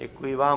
Děkuji vám.